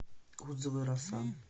отзывы роса